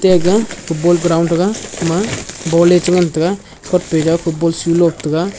ega football ground thaga ema ball ley che ngan taiga football shoe lop taiga.